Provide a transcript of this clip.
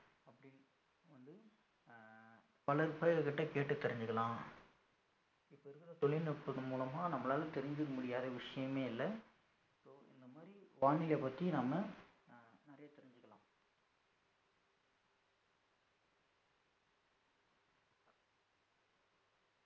அப்படினு வந்து அஹ் பலர்கிட்ட கேட்டு தெரிஞ்சுக்கலாம் இப்ப இருக்கற தொழில்நுட்பத்தின் மூலமா நம்மளால தெரிஞ்சுக்க முடியாத விஷயமே இல்ல so இந்த மாரி வானிலை பத்தி நாம அஹ் நிறைய தெரிஞ்சுக்கலாம்